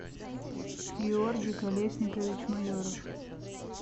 георгий колесникович майоров